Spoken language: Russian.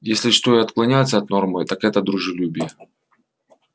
если что и отклоняется от нормы так это дружелюбие